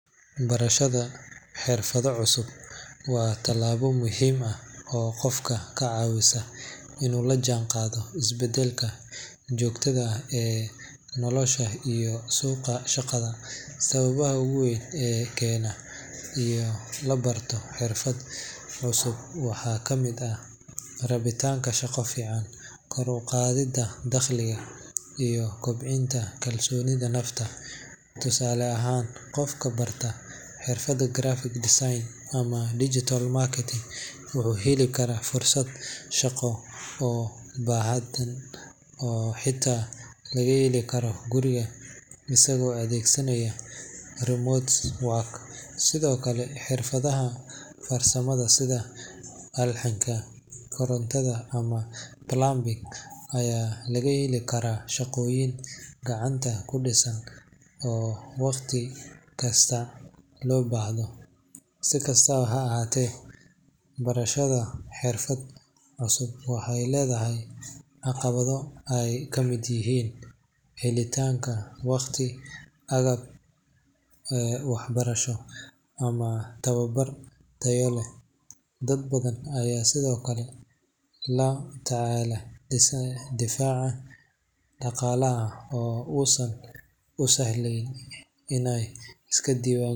Barashada xirfado cusub waa tallaabo muhiim ah oo qofka ka caawisa inuu la jaanqaado isbeddelka joogtada ah ee nolosha iyo suuqa shaqada. Sababaha ugu weyn ee keena in la barto xirfad cusub waxaa ka mid ah rabitaanka shaqo fiican, kor u qaadidda dakhliga, iyo kobcinta kalsoonida nafta. Tusaale ahaan, qof barta xirfadda graphic design ama digital marketing wuxuu heli karaa fursado shaqo oo badan oo xitaa laga heli karo guriga isagoo adeegsanaya remote work. Sidoo kale, xirfadaha farsamada sida alxanka, korontada ama plumbing ayaa lagu heli karaa shaqooyin gacanta ku dhisan oo waqti kasta loo baahdo. Si kastaba ha ahaatee, barashada xirfad cusub waxay leedahay caqabado ay ka mid yihiin helitaanka waqti, agab waxbarasho, ama tababar tayo leh. Dad badan ayaa sidoo kale la tacaala dhinaca dhaqaalaha oo uusan u sahlayn inay iska diiwaan.